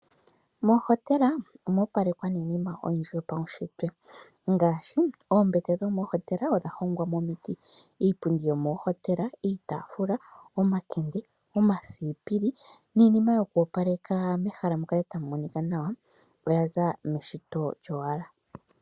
Moohotela omo opalekwa niinima oyindji yopaunshitwe ngaashi oombete dhomoohotela odha hongwa momiti, iipundi yomoohotela, iitaafula, omakende, omasipili niinima yoku opaleka mehala mukale tamu monika nawa, oya za meshito lyowala.